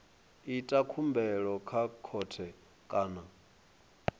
ita khumbelo kha khothe kana